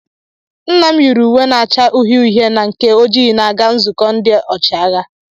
Nna m yiri uwe na-acha uhie uhie na nke ojii na-aga nzukọ ndị ọchịagha.